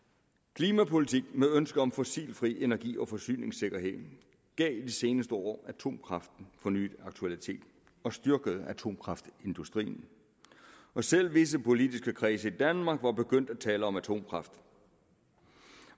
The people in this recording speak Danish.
klimapolitik med ønske om fossilfri energi og forsyningssikkerhed gav i de seneste år atomkraften fornyet aktualitet og styrkede atomkraftindustrien selv visse politiske kredse i danmark var begyndt at tale om atomkraft